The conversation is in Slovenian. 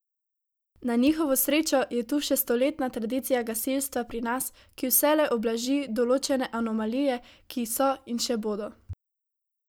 Na njihovo srečo je tu še stoletna tradicija gasilstva pri nas, ki vselej ublaži določene anomalije, ki so in še bodo.